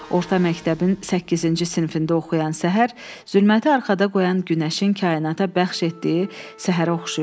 Orta məktəbin səkkizinci sinifində oxuyan Səhər zülməti arxada qoyan Günəşin kainata bəxş etdiyi səhərə oxşayırdı.